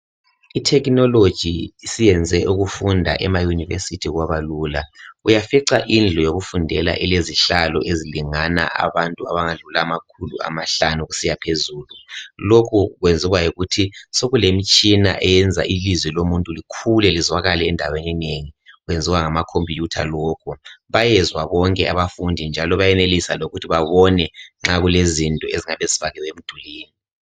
i technology isiyenze ukufunda ema university kwaba lula uyafica indlu yokufundela ilezihlalo ezilingana abantu abangadlula amakhulu amahlanu kusiya phezulu lokho kwenzwa yikuthi sekulemitshina ilizwi lomuntu likhule lizwakale endaweni enengi kwenziwa ngama computer lokhu bayezwa bonke abafundi njalo bayenelisa lokuthi babone nxa kulezinto ezingabe zifakiwe emdulini